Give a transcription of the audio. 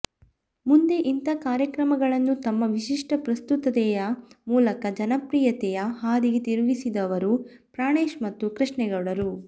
ಮುಂದೆ ಇಂಥ ಕಾರ್ಯಕ್ರಮಗಳನ್ನು ತಮ್ಮ ವಿಶಿಷ್ಟ ಪ್ರಸ್ತುತತೆಯ ಮೂಲಕ ಜನಪ್ರಿಯತೆಯ ಹಾದಿಗೆ ತಿರುಗಿಸಿದವರು ಪ್ರಾಣೇಶ್ ಮತ್ತು ಕೃಷ್ಣೇಗೌಡರು